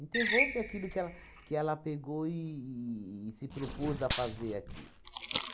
aquilo que ela que ela pegou e e se propôs a fazer aqui.